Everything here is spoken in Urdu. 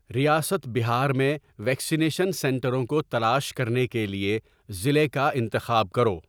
ریاست بہار میں ویکسینیشن سنٹروں کو تلاش کرنے کے لیے ضلع کا انتخاب کرو